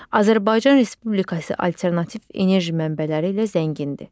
Azərbaycan Respublikası alternativ enerji mənbələri ilə zəngindir.